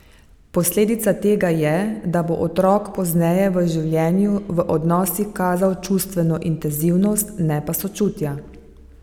Posledica tega je, da bo otrok pozneje v življenju v odnosih kazal čustveno intenzivnost, ne pa sočutja.